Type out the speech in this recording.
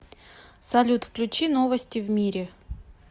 салют включи новости в мире